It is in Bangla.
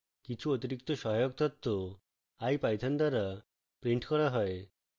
কিছু অতিরিক্ত সহায়ক তথ্য ipython দ্বারা printed করা হয়